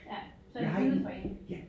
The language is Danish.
Ja så det givet for en